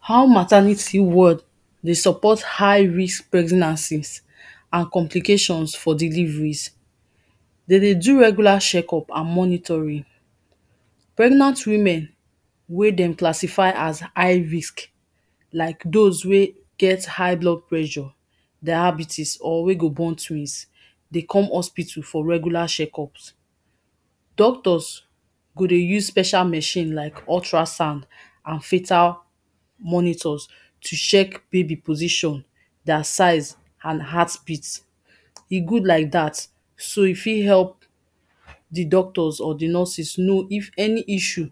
How maternity ward dey support high risk pregnancies, and complications for deliveries. Dem dey do regular check up and monitoring, pregnant women, wey dem classify as high risk, like those wey get high blood pressure, diabetes or wey go born twins, dey come hospital for regular check ups, doctors go dey use special machine like ultra sound and filter monitors to check baby position, their size, and heartbeat, e good like dat, so e fit help di doctor and nurses know if any issue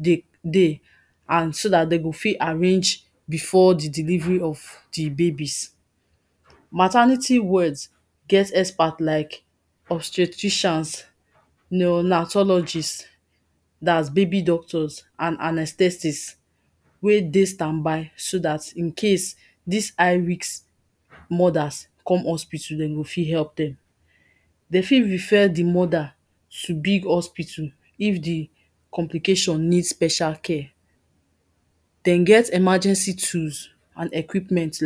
dey, dey and so dem go fit arrange before di delivery of di babies. maternity wards get experts like obstetricians, neo-natologists, dats baby doctors and anestectics, wey dey stand by so dat in case dis high risk mother come hospital, dem go fit help dem. dem fit refer di mother to big hospital if di complication need special care. dem get emergency tools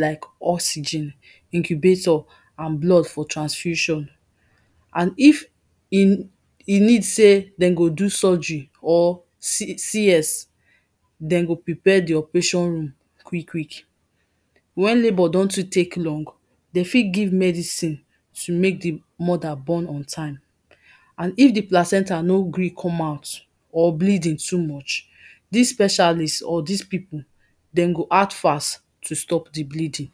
like, oxygen, incubator, and blood for transfusion, and if e e need sey dem go do surgery, or C, C.S, dem go prepare di operation room quick quick. Wen labour don too much, dem fit give medicine, to make di mother born on time and if di placenta no gree come out, or bleeding too much, dis specialist or dis people dem go act fast to stop di bleeding.